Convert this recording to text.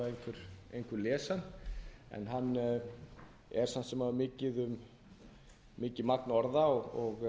einhver les hann en hann er samt sem áður mikið magn orða og það